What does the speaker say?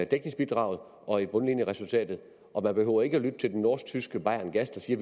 dækningsbidraget og bundlinjeresultatet og man behøver ikke at lytte til det norsk tyske bayerngas der siger